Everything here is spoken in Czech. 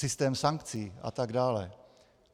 Systém sankcí a tak dále.